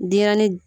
Denɲɛrɛnin